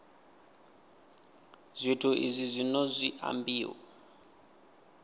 zwithu izwi zwino zwi ambiwa